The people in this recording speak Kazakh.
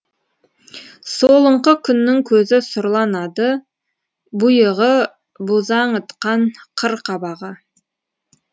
солыңқы күннің көзі сұрланады бұйығы бозаңытқан қыр қабағы